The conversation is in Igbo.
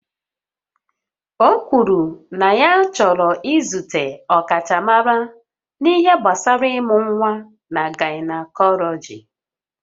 O kwuru na ya chọrọ izute ọkachamara n'ihe gbasara ịmụ nwa na gaịnakọlọji